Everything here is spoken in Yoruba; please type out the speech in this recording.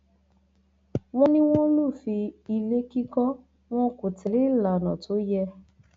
wọn ní wọn lufin ilé kíkọ wọn kọ tẹlẹ ìlànà tó yẹ